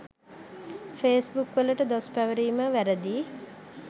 ෆේස්බුක්වලට දොස් පැවරීම වැරදි.